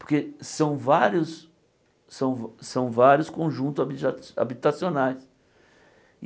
Porque são vários são são vários conjuntos habija habitacionais.